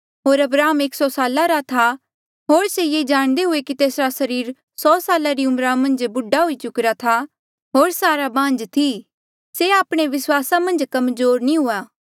होर अब्राहम एक सौ साला रा था होर से ये जाणदे हुए कि तेसरा सरीर सौ साला री उम्रा मन्झ बूढा हुई चुकिरा था होर सारा बांझ थी से आपणे विस्वासा मन्झ कमजोर नी हुआ